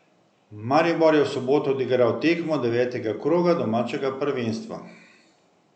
Maribor je v soboto odigral tekmo devetega kroga domačega prvenstva.